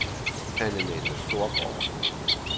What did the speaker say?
Anne-Mette Storgaard